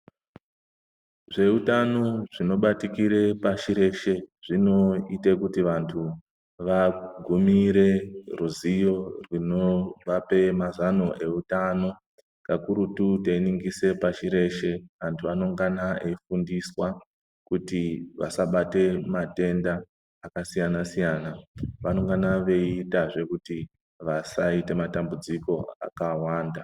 Zveutano zvinobatikire pashi reshe, zvinoite kuti vanhu vagumire ruziyo runovape mazano eutano, kakurutu teiningise pashi reshe antu anongana veifundiswa kuti vasabate matenda akasiyanasiyana vanongana veitazve kuti vasaite matambudziko akawanda.